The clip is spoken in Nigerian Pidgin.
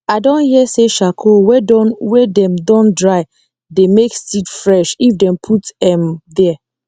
i don hear say charcoal wey don wey dem don dry dey make seed fresh if dem put m there